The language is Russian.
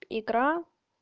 икра